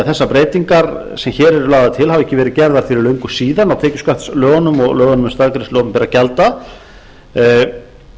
þessar breytingar sem hér eru lagðar til hafi ekki verið gerðar fyrir löngu síðan á tekjuskattslögunum og lögunum um staðgreiðslu opinberra gjalda og